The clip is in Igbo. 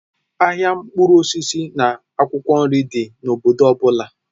Ahịa mkpụrụ osisi na akwụkwọ nri dị n'obodo ọ bụla